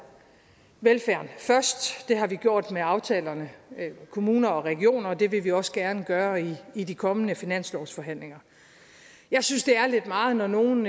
velfærden først det har vi gjort med aftalerne med kommuner og regioner og det vil vi også gerne gøre i i de kommende finanslovsforhandlinger jeg synes det er lidt meget når nogle